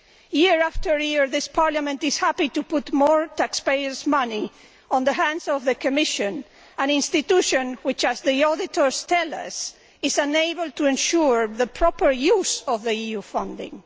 Year after year, this Parliament is happy to put more taxpayers' money in the hands of the Commission, an institution which as the auditors tell us is unable to ensure the proper use of EU funding.